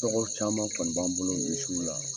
Tɔgɔ caman kɔni b'an bolo misiw la.